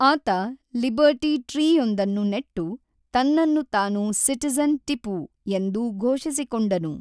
ಆತ ಲಿಬರ್ಟಿ ಟ್ರೀಯೊಂದನ್ನು ನೆಟ್ಟು ತನ್ನನ್ನು ತಾನು ಸಿಟಿಜನ್ ಟಿಪೂ ಎಂದು ಘೋಷಿಸಿಕೊಂಡನು.